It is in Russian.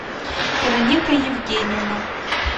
вероника евгеньевна